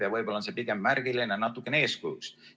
Ja võib-olla on see pigem märgiline, natukene eeskujuks.